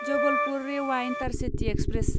Jabalpur Rewa intercity express